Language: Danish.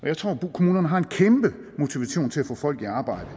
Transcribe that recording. jeg tror kommunerne har en kæmpe motivation til at få folk i arbejde